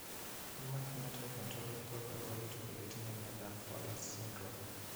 Human Phenotype Ontology koporu wolutik kole itinye Miondap Fowler's syndrome.